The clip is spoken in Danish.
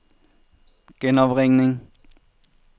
genopringning